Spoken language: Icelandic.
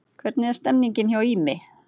Hvernig er stemningin hjá Ými?